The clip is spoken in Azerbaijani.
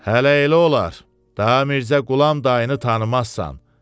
Hələ elə olar, da Mirzə Qulam da tanınsan?